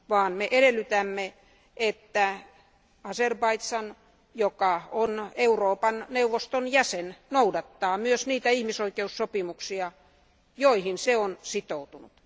Me edellytämme, että Azerbaidžan, joka on Euroopan neuvoston jäsen, noudattaa ihmisoikeussopimuksia, joihin se on sitoutunut.